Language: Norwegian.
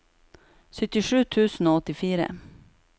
syttisju tusen og åttifire